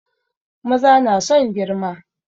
Maza na son girma